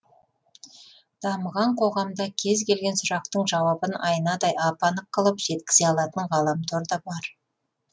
дамыған қоғамда кез келген сұрақтың жауабын айнадай ап анық қылып жеткізе алатын ғаламтор да бар